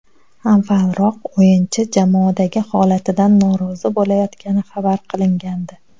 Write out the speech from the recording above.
Avvalroq o‘yinchi jamoadagi holatidan norozi bo‘layotgani xabar qilingandi.